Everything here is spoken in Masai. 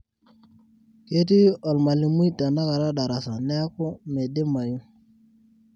ketii olmalimui tenakata darasa neeku meidimayu